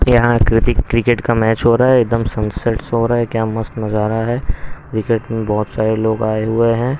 यहां कति क्रिकेट का मैच हो रहा है एकदम सनसेट्स हो रहा है क्या मस्त नजारा है विकेट में बहुत सारे लोग आए हुए हैं.